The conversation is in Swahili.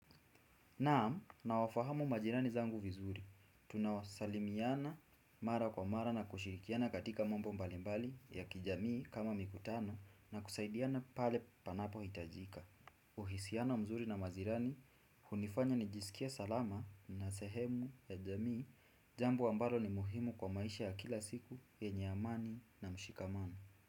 Naam nawafahamu majirani zangu vizuri. Tunaosalimiana mara kwa mara na kushirikiana katika mambo mbalimbali ya kijamii kama mikutano na kusaidiana pale panapohitajika. Uhisiana mzuri na majirani, hunifanya nijiskie salama na sehemu ya jamii, jambo ambalo ni muhimu kwa maisha ya kila siku, yenye amani na mshikamano.